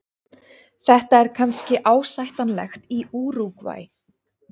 Þetta er kannski ásættanlegt í Úrúgvæ.